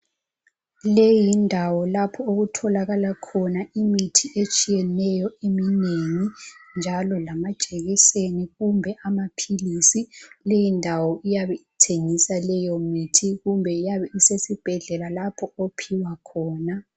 Leyi yindawo lapha okutholakala khona imithi etshiyeneyo eminengi, njalo lamajekiseni, kumbe amaphilisi. Leyindawo iyabe ithengisa leyomithi. Kumbe iyabe isesibhedlela, lapho ophiwa khona..